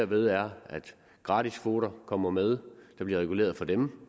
ved er at gratiskvoter kommer med der bliver reguleret for dem